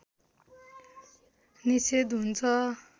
निषेध हुन्छ